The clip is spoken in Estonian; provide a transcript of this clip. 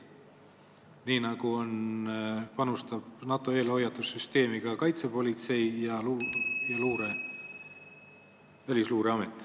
Nii nagu panustab NATO eelhoiatussüsteemi, nii teevad seda ka meie kaitsepolitsei ja Välisluureamet.